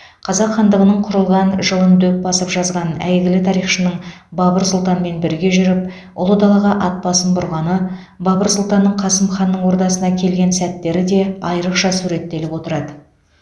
қазақ хандығының құрылған жылын дөп басып жазған әйгілі тарихшының бабыр сұлтанмен бірге жүріп ұлы далаға ат басын бұрғаны бабыр сұлтанның қасым ханның ордасына келген сәттері де айрықша суреттеліп отырады